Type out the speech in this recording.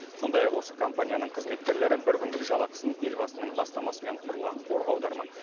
сондай ақ осы компанияның қызметкерлері бір күндік жалақысын елбасының бастамасымен құрылған қорға аудармақ